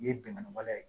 Ye bɛnkan wale ye